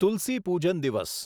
તુલસી પૂજન દિવસ